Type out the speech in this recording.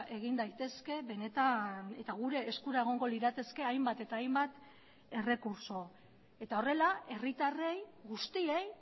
egin daitezke benetan eta gure eskura egongo lirateke hainbat eta hainbat errekurtso eta horrela herritarrei guztiei